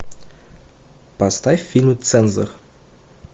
поставь фильм цензор